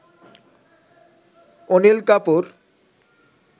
Anil Kapoor